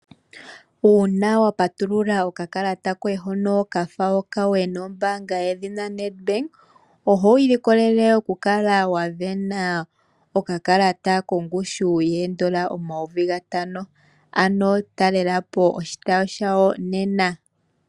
Uuna wapatulula okakalata koye hono kafa okawe nombanga yedhina Nedbank oho iilikolele oku kala wasindana okakalata kongushu N$5000.00 ano talelapo oshitayi shawo nena.